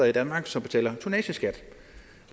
i danmark som betaler tonnageskat